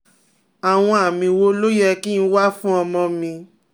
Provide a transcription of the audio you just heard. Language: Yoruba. Àwọn àmì wo ló yẹ kí n wá fún ọmọ mi?